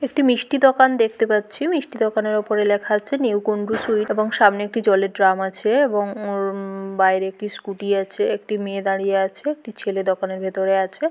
একটি মিষ্টি দোকান দেখতে পাচ্ছি মিষ্টি দোকানের উপরে লেখা আছে নিউ কুণ্ডু সুইট এবং সামনে একটি জলের ড্রাম আছে এবং উম ব বাইরে একটি স্কুটি -টি আছে। একটি মেয়ে দাঁড়িয়ে আছে একটি ছেলে দোকানের ভেতরে আছে।